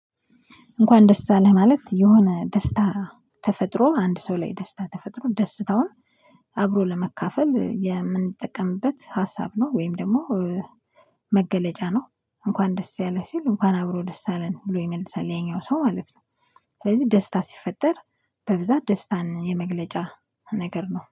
እንኳን ደስ አለህ ማለት የሆነ ደስታ ተፈጥሮ አንድ ሰው ላይ ደስታ ተፈጥሮ ደስታውን አብሮ ለመካፈል የምንጠቀምበት ሀሳብ ነው። ወይም ደግሞ መገለጫ ነው። እንኳን ደስ ያለ ሲል እንኳን አብሮ ደስ አለን ብሎ ይመልሳል ያኛው ሰው ማለት ነው ስለዚህ ደስታ ሲፈጠር በብዛት ደስታን የመግለጫ ነገር ነው።